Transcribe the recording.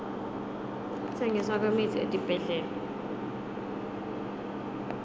kutsengiswa kwemitsi etibhedlela